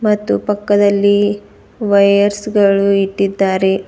ಮತ್ತು ಪಕ್ಕದಲ್ಲಿ ವೈರ್ಸ್ ಗಳು ಇಟ್ಟಿದ್ದಾರೆ.